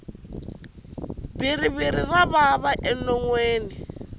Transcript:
bhiriviri ra vava enonwini